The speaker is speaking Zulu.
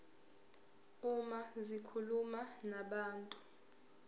uma zikhuluma nabantu